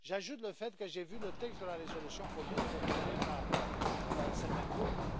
J'ajoute le fait que j'ai vu le texte de la résolution commune proposée par certains groupes.